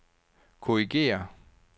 korrigér